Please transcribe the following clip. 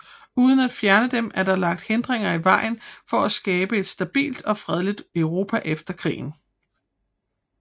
Uden at fjerne dem var der lagt hindringer i vejen for at skabe et stabilt og fredeligt Europa efter krigen